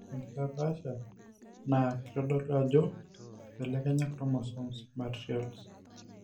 ore enkitapaasha' naa kitodolu ajo eibelekenya chromosomes imaterials.